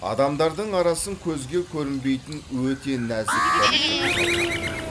адамдардың арасын көзге көрінбейтін өте нәзік бір жіп жалғап тұрады